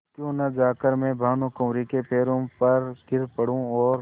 क्यों न जाकर मैं भानुकुँवरि के पैरों पर गिर पड़ूँ और